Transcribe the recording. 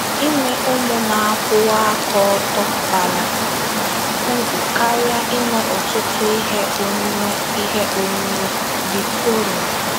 “ Inwe ụmụ na - akwụwa aka ọtọ bara uru karịa inwe ọtụtụ ihe onwunwe ihe onwunwe. ”— VIKTORIN